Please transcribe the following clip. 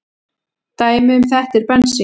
Dæmi um þetta er bensín.